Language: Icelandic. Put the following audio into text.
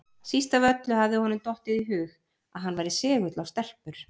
Síst af öllu hafði honum dottið í hug að hann væri segull á stelpur!